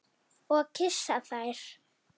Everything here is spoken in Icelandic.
Og kyssa þær.